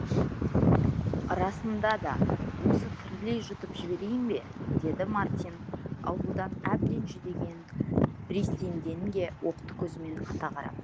расында да осы тірілей жұтып жіберейін бе деді мартин аурудан әбден жүдеген бриссенденге оқты көзімен ата қарап